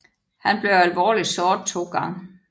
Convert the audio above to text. Han blev alvorligt såret to gange